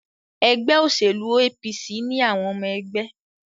Ẹgbẹ́ òṣèlú APC ni àwọn ọmọ ẹgbẹ́.